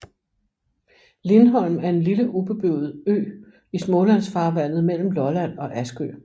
Lindholm er en lille ubeboet ø i Smålandsfarvandet mellem Lolland og Askø